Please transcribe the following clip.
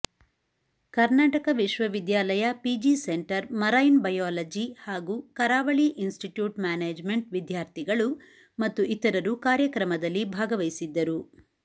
ಕರ್ನಾಟಕ ವಿಶ್ವವಿದ್ಯಾಲಯ P G centre marine biology ಹಾಗೂ ಕರಾವಳಿ ಇನ್ಸಿಟ್ಯೂಟ್ ಮ್ಯಾನೇಜಮೆಂಟ್ವಿದ್ಯಾರ್ಥಿಗಳು ಮತ್ತುಇತರರುಕಾರ್ಯಕ್ರಮದಲ್ಲಿ ಭಾಗವಹಿಸಿದ್ದರು